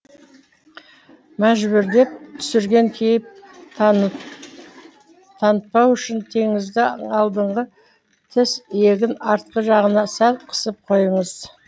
мәжбүрлеп түсірген кейіп танытпау үшін теңізді алдыңғы тіс иегінің артқы жағына сәл қысып қойыңыз